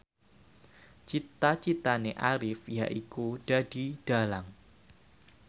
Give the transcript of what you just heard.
cita citane Arif yaiku dadi dhalang